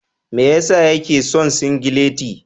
Me ya sa yake son singileti.